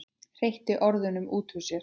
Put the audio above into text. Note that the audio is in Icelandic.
Hreytti orðunum út úr sér.